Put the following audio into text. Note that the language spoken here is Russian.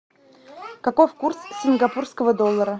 каков курс сингапурского доллара